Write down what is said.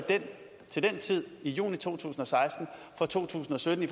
den tid altså i juni to tusind og seksten for to tusind og sytten